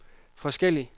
forskellig